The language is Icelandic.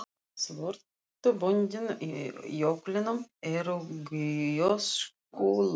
Svörtu böndin í jöklinum eru gjóskulög.